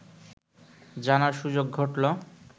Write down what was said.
জানার সুযোগ ঘটলো